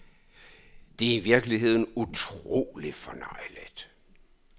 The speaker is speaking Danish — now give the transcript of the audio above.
Det er i virkeligheden utrolig fornøjeligt.